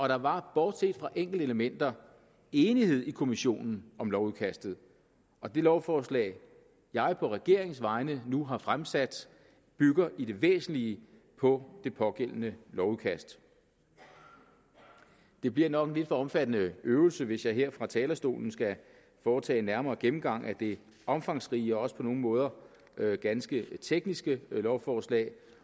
der var bortset fra enkelte elementer enighed i kommissionen om lovudkastet og det lovforslag jeg på regeringens vegne nu har fremsat bygger i det væsentlige på det pågældende lovudkast det bliver nok en lidt for omfattende øvelse hvis jeg her fra talerstolen skal foretage en nærmere gennemgang at det omfangsrige og også på nogle måder ganske tekniske lovforslag